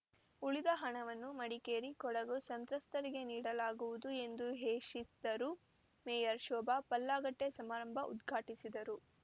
ಉಳಿದ ಹಣವನ್ನು ಮಡಿಕೇರಿ ಕೊಡಗು ಸಂತ್ರಸ್ಥರಿಗೆ ನೀಡಲಾಗುವುದು ಎಂದು ಹೇಶಿದರು ಮೇಯರ್‌ ಶೋಭಾ ಪಲ್ಲಾಗಟ್ಟೆಸಮಾರಂಭ ಉದ್ಘಾಟಿಸಿದರು